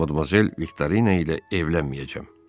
Mən Modmazel Viktorina ilə evlənməyəcəm.